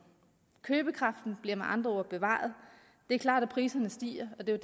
købekraften bliver med andre ord bevaret det er klart at priserne stiger og det er